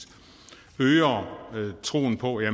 øger troen på at